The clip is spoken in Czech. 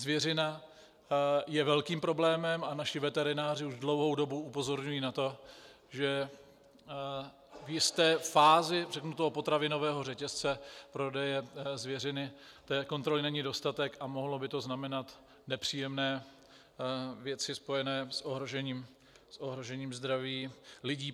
Zvěřina je velkým problémem a naši veterináři už dlouhou dobu upozorňují na to, že v jisté fázi, řeknu, toho potravinového řetězce prodeje zvěřiny té kontroly není dostatek a mohlo by to znamenat nepříjemné věci spojené s ohrožením zdraví lidí.